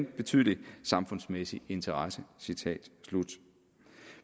betydelig samfundsmæssig interesse